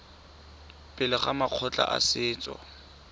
pele ga makgotla a setso